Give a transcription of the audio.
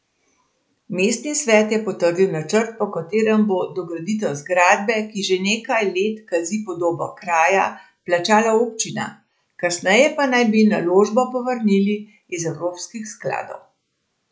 Mestni svet je potrdil načrt, po katerem bo dograditev zgradbe, ki že nekaj let kazi podobo kraja, plačala občina, kasneje pa naj bi naložbo povrnili iz evropskih skladov.